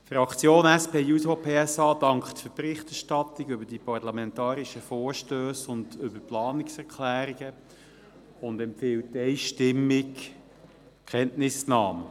Die Fraktion der SP-JUSO-PSA dankt für die Berichterstattung über die parlamentarischen Vorstösse und über die Planungserklärungen und empfiehlt einstimmig Kenntnisnahme.